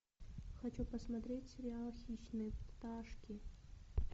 хочу посмотреть сериал хищные пташки